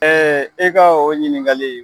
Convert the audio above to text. Ɛɛ e ka o ɲininkali